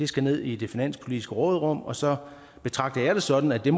skal ned i det finanspolitiske råderum og så betragter jeg det sådan at det